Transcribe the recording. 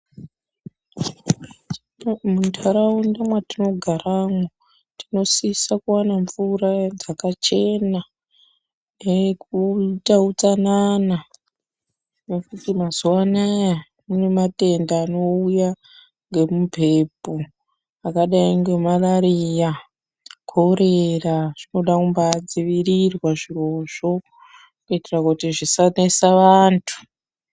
Muntaraunda mwatinogaramwo tinosisa kuvana mvura dzakachena. Nekuita utsanana nekuti mazuva anaya kune matenda anouya ngemumhepo akadai ngemarariya, korera zvinodambadzivirirwa zvirozvo, kuitira kuti zvisanesa vantu.